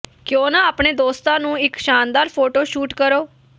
ਕਿਉਂ ਨਾ ਆਪਣੇ ਦੋਸਤਾਂ ਨੂੰ ਇੱਕ ਸ਼ਾਨਦਾਰ ਫੋਟੋ ਸ਼ੂਟ ਕਰੋ